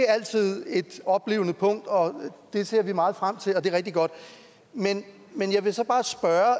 er altid et oplivende punkt og det ser vi meget frem til og det er rigtig godt men jeg vil så bare spørge